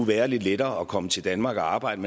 være lidt lettere at komme til danmark og arbejde